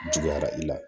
Juguyara i la